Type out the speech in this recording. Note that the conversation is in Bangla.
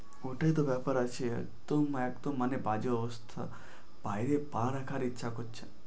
ওটাই তো ব্যাপার আছে একদম মানে একদম একদম বাজে অবস্থা। বাইরে পা রাখার ইচ্ছা করছে না।